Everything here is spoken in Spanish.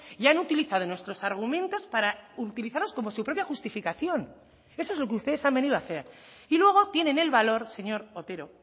y han utilizado nuestros argumentos para utilizarlos como su propia justificación eso es lo que ustedes han venido a hacer y luego tienen el valor señor otero